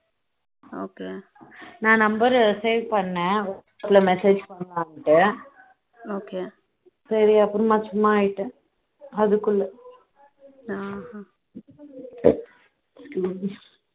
okay நான் number save பண்ணேன் உங்களுக்கு message பண்ணலாண்டு okay சரி அப்புறம் சும்மா ஆயிட்டேன் அதுக்குள்ள